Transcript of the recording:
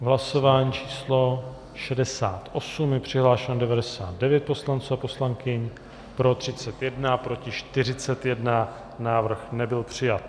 Hlasování číslo 68, je přihlášeno 99 poslanců a poslankyň, pro 31, proti 41, návrh nebyl přijat.